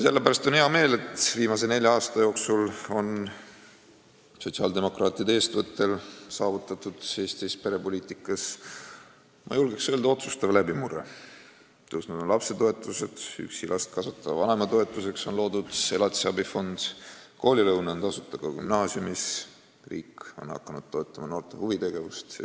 Sellepärast on mul hea meel, et viimase nelja aasta jooksul on sotsiaaldemokraatide eestvõttel Eesti perepoliitikas saavutatud, ma julgeks öelda, otsustav läbimurre: lapsetoetused on tõusnud, üksi last kasvatava vanema toetuseks on loodud elatisabifond, koolilõuna on tasuta ka gümnaasiumis, riik on hakanud toetama noorte huvitegevust.